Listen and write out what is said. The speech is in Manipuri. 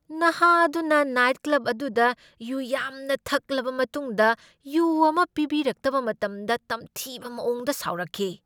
ꯅꯍꯥ ꯑꯗꯨꯅ ꯅꯥꯏꯠ ꯀ꯭ꯂꯕ ꯑꯗꯨꯗ ꯌꯨ ꯌꯥꯝꯅ ꯊꯛꯂꯕ ꯃꯇꯨꯡꯗ ꯌꯨ ꯑꯃ ꯄꯤꯕꯤꯔꯛꯇꯕ ꯃꯇꯝꯗ ꯇꯝꯊꯤꯕ ꯃꯑꯣꯡꯗ ꯁꯥꯎꯔꯛꯈꯤ꯫